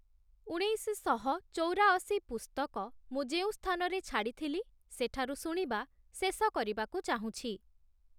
ଉଣେଇଶଶହ ଚୌରାଅଶୀ ପୁସ୍ତକ ମୁଁ ଯେଉଁ ସ୍ଥାନରେ ଛାଡିଥିଲି, ସେଠାରୁ ଶୁଣିବା ଶେଷ କରିବାକୁ ଚାହୁଁଛି |